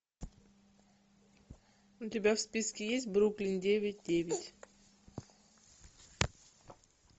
у тебя в списке есть бруклин девять девять